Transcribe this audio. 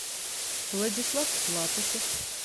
владислав латышев